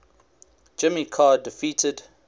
jimmy carter defeated